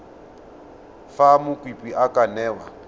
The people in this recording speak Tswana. fa mokopi a ka newa